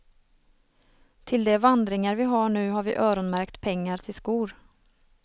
Till de vandringar vi har nu har vi öronmärkt pengar till skor.